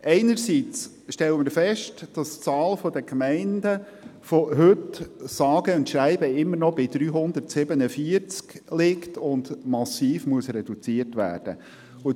Einerseits stellen wir fest, dass die Zahl der Gemeinden immer noch bei 347 liegt und massiv reduziert werden muss.